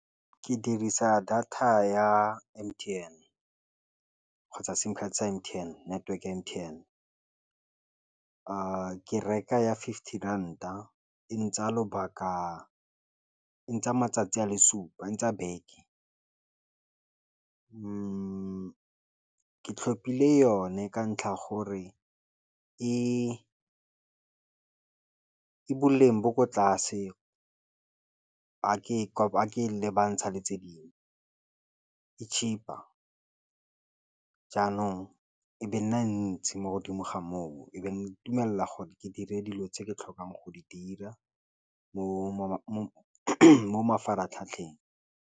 Ke dirisa data ya M_T_N kgotsa sim card sa M_T_N network ya M_T_N ke reka ya fifty ranta e ntsaya lobaka e ntsha matsatsi a le supa e tsaya beke ke tlhopile yone ka ntlha ya gore e boleng bo ko tlase ga ke le bantsha le tse dingwe e cheaper, jaanong e be nna ntsi mo godimo ga moo e beng dumela gore ke dire dilo tse ke tlhokang go di dira mo mafaratlhatlheng.